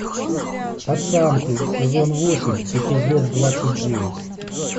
пацанки сезон восемь эпизод двадцать девять